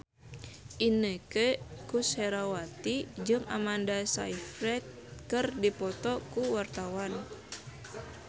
Inneke Koesherawati jeung Amanda Sayfried keur dipoto ku wartawan